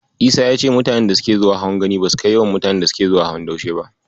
Isa ya ce mutanen da suke zuwa hawan Gani basu kai mutanen da suke zuwa hawan Daushe ba.